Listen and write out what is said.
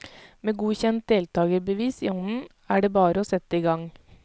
Med godkjent deltagerbevis i hånden er det bare å sette i gang.